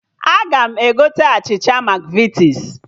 Aga m egote achịcha Makvitis